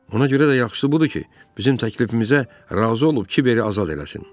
Ona görə də yaxşısı budur ki, bizim təklifimizə razı olub Kiberi azad eləsin.